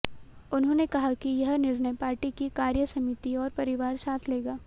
उन्होंने कहा कि यह निर्णय पार्टी की कार्य समिति और परिवार साथ लेगा